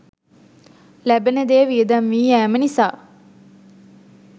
ලැබෙන දෙය වියදම් වී යෑම නිසා